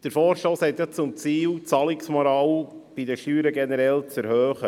Der Vorstoss hat zum Ziel, die Zahlungsmoral bei den Steuern generell zu erhöhen.